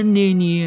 Mən neyləyim?